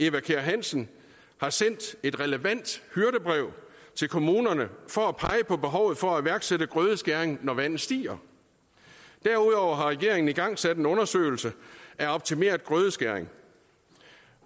eva kjer hansen har sendt et relevant hyrdebrev til kommunerne for at pege på behovet for at iværksætte grødeskæring når vandet stiger derudover har regeringen igangsat en undersøgelse af optimeret grødeskæring